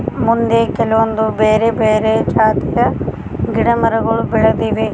ಮುಂದೆ ಕೆಲವೊಂದು ಬೇರೆ ಬೇರೆ ಜಾತಿಯ ಗಿಡಮರಗಳು ಬೆಳೆದಿವೆ.